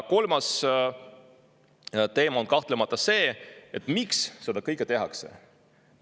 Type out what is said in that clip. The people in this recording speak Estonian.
Kolmas teema on kahtlemata see, miks seda kõike tehakse.